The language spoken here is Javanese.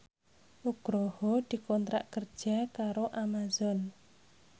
Nugroho dikontrak kerja karo Amazon